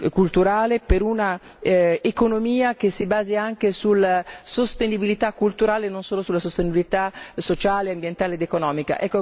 culturale, per una economia che si basi anche sulla sostenibilità culturale e non solo sulla sostenibilità sociale, ambientale ed economica.